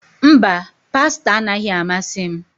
Mba, pasta anaghị amasị m